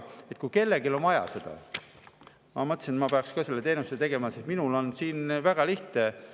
Ma mõtlesin, et kui kellelgi on seda vaja, siis ma peaksin selle teenuse tegema, sest minul on väga lihtne.